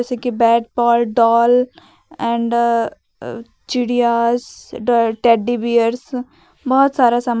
जैसे कि bat ball doll and uh uh चिडियास टेडी बीयर्स बहुत सारा सामान--